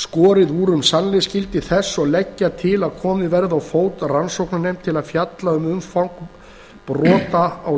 skorið úr um sannleiksgildi þessa og leggja til að komið verði á fót rannsóknarnefnd til að fjalla um umfang brota á